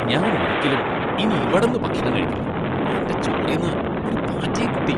ഞാൻ ഒരിക്കലും ഇനി ഇവടന്ന് ഭക്ഷണം കഴിക്കില്ല, എന്റെ ചോറീന്ന് ഒരു പാറ്റയെ കിട്ടി.